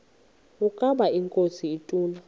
ukaba inkosi ituna